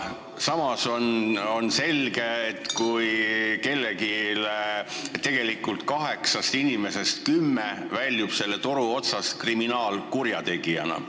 Samal ajal on selge, et kümnest inimesest kaheksa väljub selle toru otsast kriminaalkurjategijana.